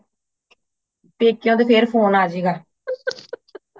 ਪੇਕਿਆਂ ਤੋਂ ਫੇਰ phone ਆ ਜਾਏ ਗਏ